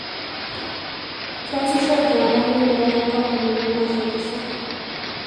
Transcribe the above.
Keasisho iltunganak le murua too nkampunini naashetisho.